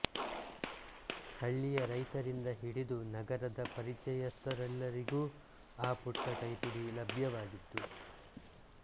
ಹಳ್ಳಿಯ ರೈತರಿಂದ ಹಿಡಿದು ನಗರದ ಪರಿಚಯಸ್ಥರೆಲ್ಲರಿಗೂ ಆ ಪುಟ್ಟ ಕೈಪಿಡಿ ಲಭ್ಯವಾಗಿತ್ತು